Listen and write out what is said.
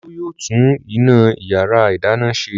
Olú yóò tún iná ìyàrá-ìdáná ṣe.